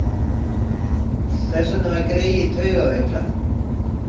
Þess vegna var greyið taugaveiklað.